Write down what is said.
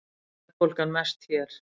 Verðbólgan mest hér